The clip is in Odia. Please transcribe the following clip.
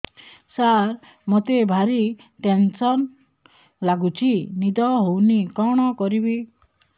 ସାର ମତେ ଭାରି ଟେନ୍ସନ୍ ଲାଗୁଚି ନିଦ ହଉନି କଣ କରିବି